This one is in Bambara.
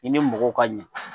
I ni mɔgɔw ka ɲa.